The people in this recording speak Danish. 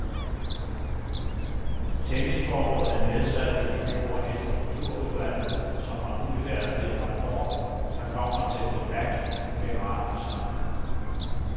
Tennisforbundet nedsatte i fjor et strukturudvalg, som har udfærdiget en rapport, der kommer til debat på generalforsamlingen.